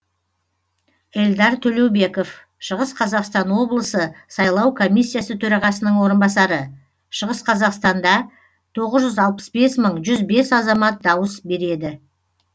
эльдар төлеубеков шығыс қазақстан облысы сайлау комиссиясы төрағасының орынбасары шығыс қазақстанда тоғыз жүз алпыс бес мың жүз бес азамат дауыс береді